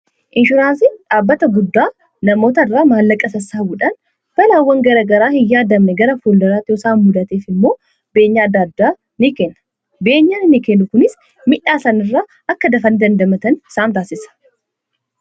Inshuraansii dhaabbata guddaa namoota irraa maallaqa sassaabuudhaan balaawwan garagaraa hin yaadamne gara fuldaraati isaan mudateef immoo beenya ni kenna. Kunis midhaa sanirra akka dafanni dandamatan isaan taasisa.